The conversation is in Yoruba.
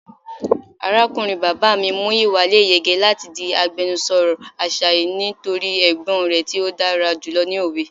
Arakunrin baba mi Muyiwa le yege lati di agbẹnusọ Asaye nitori ọgbọn rẹ ti odara julọ ni owe.